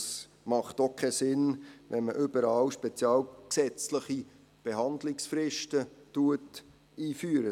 Es macht auch keinen Sinn, wenn man überall spezialgesetzliche Behandlungsfristen einführt.